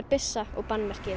byssa og